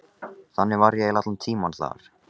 Þannig var ég eiginlega allan tímann þar.